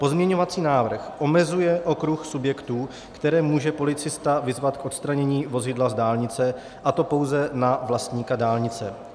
Pozměňovací návrh omezuje okruh subjektů, které může policista vyzvat k odstranění vozidla z dálnice, a to pouze na vlastníka dálnice.